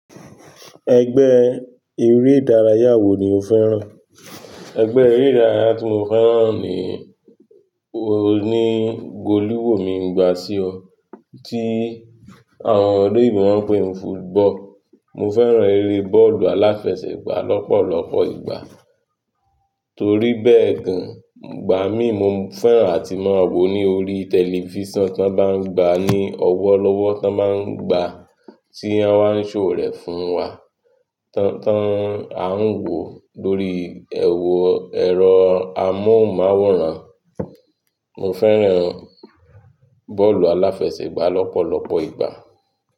Ẹgbẹ́ eré ìdárayá wo ni o fẹ́ràn? Ẹgbẹ́ eré ìdárayá tí mo fẹ́ràn ni, o ni, gòlíwò mi ń gba sí ọ, tí àwọn ọ̀loyìnbó má ń pè ní football. Mo fẹ́ràn eré bọ́ọ̀lù aláfẹsẹ̀gbá lọ́pọ̀lọpọ̀ ìgbà. Torí bẹ́ẹ̀ gan, gbà mí mo fẹ́ràn àti máa wò ní orí tẹlifísàn tí wọ́n bá ń gba, ní ọwọ́ lọ́wọ́ tí wọ́n máa ń gba, tí wọ́n á ń ṣòwò rẹ̀ fún wa, tí wọ́n á ń wò lórí ẹrọ ẹrọ amòmáwòrán. Mo fẹ́ràn bọ́ọ̀lù aláfẹsẹ̀gbá lọ́pọ̀lọpọ̀ ìgbà.